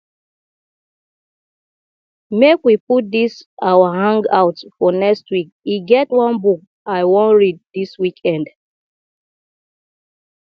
make we put dis our hang out for next week e get one book i wan read dis weekend